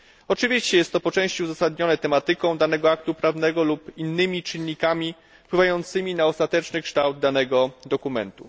Oczywiście jest to po części uzasadnione tematyką danego aktu prawnego lub innymi czynnikami wpływającymi na ostateczny kształt danego dokumentu.